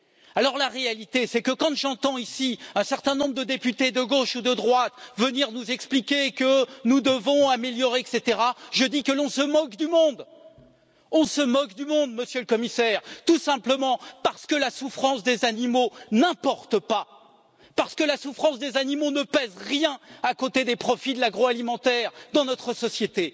Alors en réalité, quand j'entends ici un certain nombre de députés, de gauche ou de droite, venir nous expliquer que nous devons améliorer, etc., je dis que l'on se moque du mondeǃ On se moque du monde, Monsieur le Commissaireǃ Tout simplement parce que la souffrance des animaux n'importe pas, parce que la souffrance des animaux ne pèse rien à côté des profits de l'agroalimentaire dans notre société.